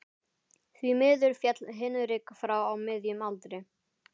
Því miður féll Hinrik frá á miðjum aldri.